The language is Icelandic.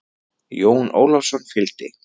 Jón Ólafsson fylgdi.